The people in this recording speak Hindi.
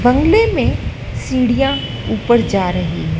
बंगले में सीढ़ियां ऊपर जा रही है।